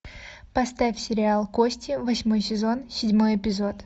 поставь сериал кости восьмой сезон седьмой эпизод